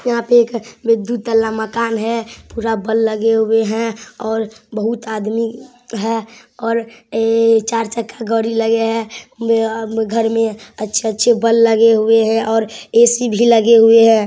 यहाँ पे एक दू तल्ला मकान है। पूरा बल्ब लगे हुए हैं और बहुत आदमी हैं और ऐ चार चक्का गाड़ी लगे हैं | बआ घर में अच्छे अच्छे बल्ब लगे हुए हैं और ऐ.सी. भी लगे हुए हैं ।